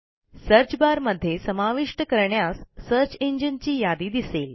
search bar मध्ये समाविष्ट करण्यास सर्च इंजिन ची यादी दिसेल